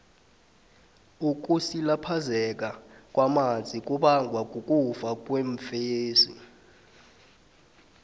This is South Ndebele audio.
ukusilaphazeka kwamazi kubanga ukufa kweemfesi